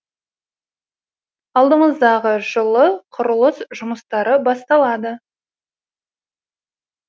алдымыздағы жылы құрылыс жұмыстары басталады